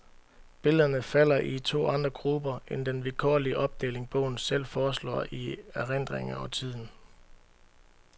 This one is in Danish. Billederne falder i to andre grupper end den vilkårlige opdeling bogen selv foreslår i erindring og tiden.